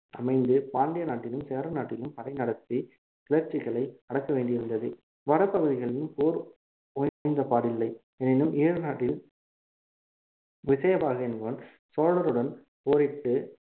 அமைந்து பாண்டிய நாட்டிலும் சேர நாட்டிலும் படை நடத்தி கிளர்ச்சிகளை அடக்க வேண்டி இருந்தது வட பகுதிகளில் போர் ஓய்ந்தபாடில்லை எனினும் ஈழநாட்டில் விஜயபாகு என்பவன் சோழருடன் போரிட்டு